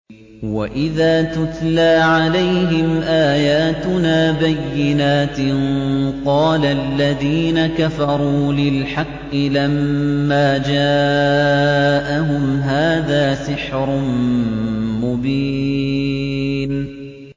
وَإِذَا تُتْلَىٰ عَلَيْهِمْ آيَاتُنَا بَيِّنَاتٍ قَالَ الَّذِينَ كَفَرُوا لِلْحَقِّ لَمَّا جَاءَهُمْ هَٰذَا سِحْرٌ مُّبِينٌ